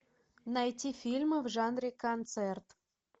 найти фильмы в жанре концерт